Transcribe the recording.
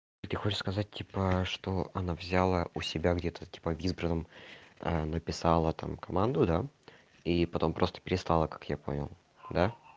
ты хочешь сказать типа что она взяла у себя где-то типа в избранном а написала там команду да и потом просто перестала как я понял да